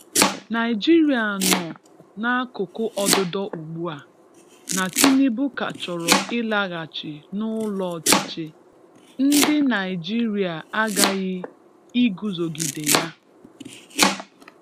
Nigeria nọ n’akụkụ ọdụdọ ugbu a, na Tinubu ka chọrọ ịlaghachi n’ụlọ ọchịchị. Ndị Naịjịrịa aghaghị iguzogide ya